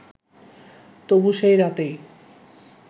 তবু সেই রাতেই